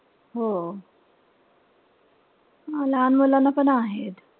हो. लहान मुलांना पण आहेच.